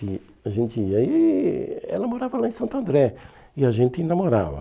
A gente e aí ela morava lá em Santo André e a gente namorava.